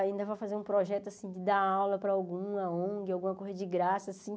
Ainda vou fazer um projeto assim, dar aula para alguma ong, alguma coisa de graça, assim.